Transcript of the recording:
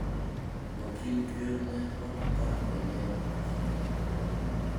Wakind ker ne otho ka hike ng'eny ahinya.